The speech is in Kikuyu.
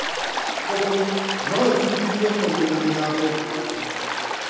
Ngũkũ no ibũndithio kũmenya mĩgambo ngũrani.